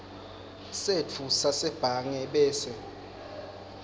setfu sasebhange bese